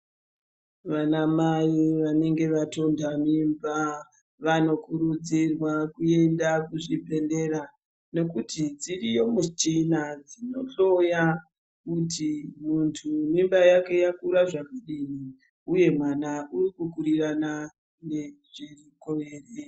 Vanamai vanenge vatonda mimba vanokurudzirwa kuenda kuzvibhehlera nekuti dziriyo muchina dzinohloya kuti muntu mimba yake yakura zvakadini uye mwana urikukurirana nemukuwo here